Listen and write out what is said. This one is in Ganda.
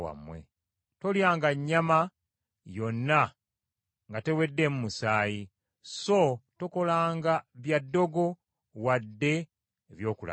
“Tolyanga nnyama yonna nga teweddeemu musaayi; “so tokolanga bya ddogo wadde eby’okulagula.